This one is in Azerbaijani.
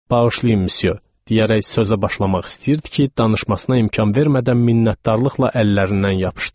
Bağışlayın, Müsyo, deyərək sözə başlamaq istəyirdi ki, danışmasına imkan vermədən minnətdarlıqla əllərindən yapışdım.